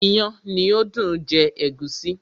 iyán ni ó dùn jẹ ègúsí.